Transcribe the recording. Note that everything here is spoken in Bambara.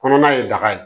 Kɔnɔna ye daga ye